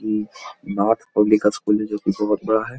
ई Nath public school है जो कि बहुत बड़ा है।